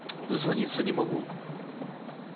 дозвониться не могу